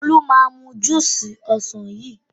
Olú máa mu júúsì ọsàn yìí.